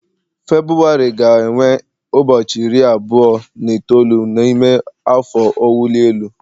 Febụwarị ga-enwe ụbọchị iri abụọ na itoolu n'ime afọ ọwụli elu